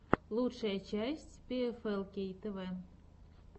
лучшая часть пиэфэлкей тэвэ